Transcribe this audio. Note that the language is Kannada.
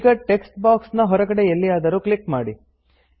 ಈಗ ಟೆಕ್ಸ್ಟ್ ಬಾಕ್ಸ್ ನ ಹೊರಗೆಡೆ ಎಲ್ಲಿಯಾದರೂ ಕ್ಲಿಕ್ ಮಾಡಿ